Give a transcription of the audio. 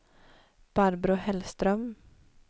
Barbro Hellström